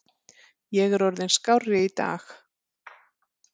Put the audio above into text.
Ég er orðinn skárri í dag.